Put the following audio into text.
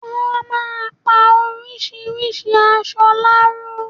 Wọ́n á máa pa orisirisi aṣọ láró.